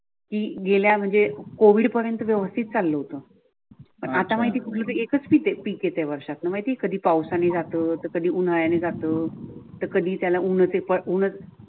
ती गेल्या म्हणजे कोविड पर्यंत व्यवस्थित चालू होतं पण आता माहिती कुठली एकच पीक येते वर्षातून माहिती आहे कधी पावसाने जातो तर कधी उन्हाळा ने जातं तर कधी त्याला उन्ह्च